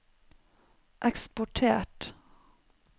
eksportert